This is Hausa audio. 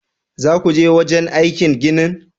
Zakuje wajenaikin ginin?